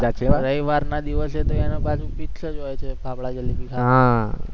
રવિવારના દિવસે તો એનું પાછું fix જ હોય છે, ફાફડા જલેબી ખાવાનું હા